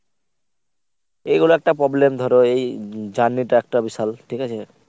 এইগুলা একটা problem ধরো এই journey টা একটা বিশাল ঠিকাছে।